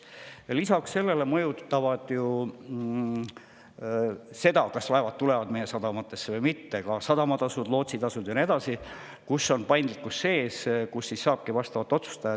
Aga lisaks sellele mõjutavad seda, kas laevad tulevad meie sadamatesse või mitte, ka sadamatasud, lootsitasud ja nii edasi, kus on paindlikkus sees ja saabki vastavalt otsustada.